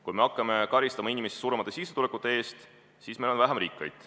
Kui me hakkame karistama inimesi suuremate sissetulekute eest, siis meil on vähem rikkaid.